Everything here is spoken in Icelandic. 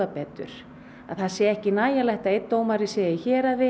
það sé ekki nægjanlegt að einn dómari sé í héraði og